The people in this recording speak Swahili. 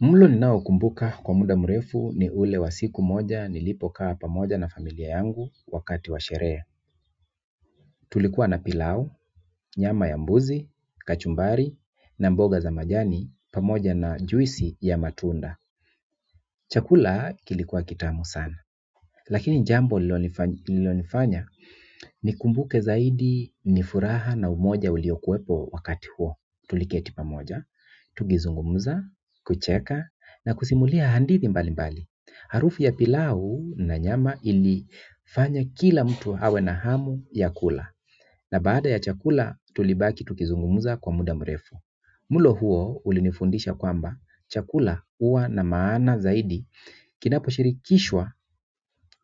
Mlo ninaokumbuka kwa muda mrefu ni ule wa siku moja nilipokaa pamoja na familia yangu wakati wa sherehe. Tulikuwa na pilau, nyama ya mbuzi, kachumbari na mboga za majani pamoja na juisi ya matunda. Chakula kilikuwa kitamu sana. Lakini jambo lilonifanya nikumbuke zaidi ni furaha na umoja uliokuwepo wakati huo. Tuliketi pamoja, tukizungumza, kucheka na kusimulia hadithi mbalimbali. Harufu ya pilau na nyama ilifanya kila mtu awe na hamu ya kula na baada ya chakula tulibaki tukizungumza kwa muda mrefu mlo huo ulinifundisha kwamba chakula huwa na maana zaidi kinaposhirikishwa